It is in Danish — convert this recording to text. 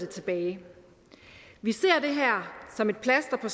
tilbage vi ser det her som et plaster på